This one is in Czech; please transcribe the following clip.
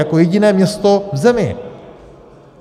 Jako jediné město v zemi.